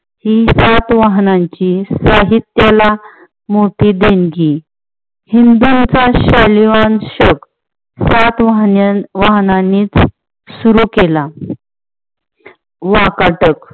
ही सातवहनांची साहित्याला मोठी देणगी. हिंदुंचा शैल्या वंश सातवाहन यांनीच सुरु केला. वाकाटक